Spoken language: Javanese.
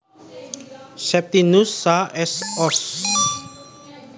Septinus Saa S Sos